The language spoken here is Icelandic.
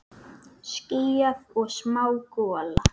Skýjað og smá gola.